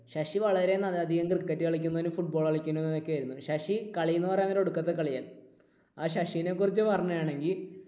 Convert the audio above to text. ശശി വളരെയധികം cricket കളിക്കും, football കളിക്കുന്ന ഒക്കെയായിരുന്നു ശശി. കളി എന്ന് പറയാൻ നേരം ഒടുക്കത്തെ കളിയാ. ആ ശശിയെ കുറിച്ച് പറയുകയാണെങ്കിൽ